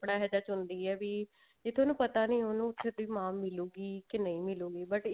ਇਹੋਜਿਹਾ ਚੁਣਦੀ ਆ ਵੀ ਜਿੱਥੇ ਉਹਨੂੰ ਪਤਾ ਨੀ ਉਹਨੂੰ ਵੀ ਮਾਂ ਮਿਲੂਗੀ ਕੇ ਨਹੀਂ ਮਿਲੂਗੀ but